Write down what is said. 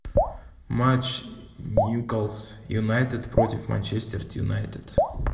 матч ньюкасл юнайтед против манчестер юнайтед